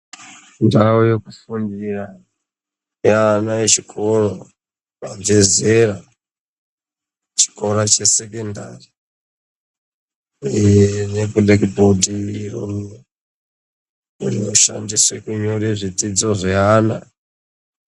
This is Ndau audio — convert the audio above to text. Ndau yekufundira yevana vechikora vabva zera yechikara yesekondari ine black board rinoshandiswa kunyora zvidzidzo zvevana.